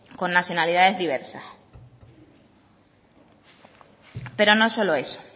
con nacionalidades diversas pero no solo eso